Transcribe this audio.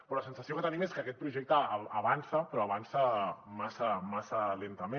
però la sensació que tenim és que aquest projecte avança però avança massa lentament